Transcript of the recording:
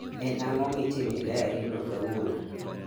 En ango mitime e dayari no kawuono